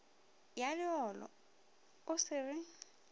ya leolo o se re